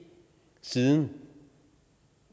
siden